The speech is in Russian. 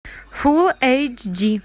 фул эйч ди